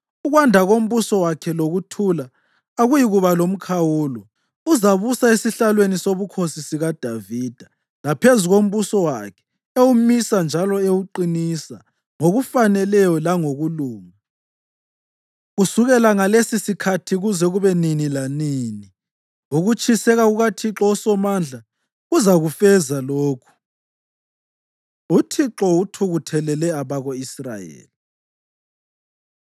Ukwanda kombuso wakhe lokuthula akuyikuba lomkhawulo. Uzabusa esihlalweni sobukhosi sikaDavida laphezu kombuso wakhe, ewumisa njalo ewuqinisa ngokufaneleyo langokulunga, kusukela ngalesisikhathi kuze kube nini lanini. Ukutshiseka kukaThixo uSomandla kuzakufeza lokhu. UThixo Uthukuthelele Abako-Israyeli